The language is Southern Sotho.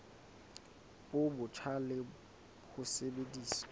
bo botjha le ho sebedisa